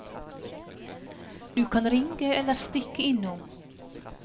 Du kan ringe eller stikke innom.